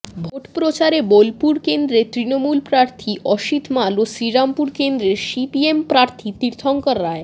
ভোটপ্রচারে বোলপুর কেন্দ্রের তৃণমূল প্রার্থী অসিত মাল ও শ্রীরামপুর কেন্দ্রের সিপিএম প্রার্থী তীর্থংকর রায়